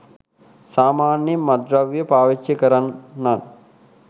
සාමාන්‍යයෙන් මත්ද්‍රව්‍ය පාවිච්චි කරන්නන්